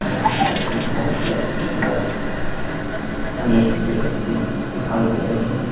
Ground shopping complex के अंदर अनेक व्यक्ति दिखाई दे रहे हैं।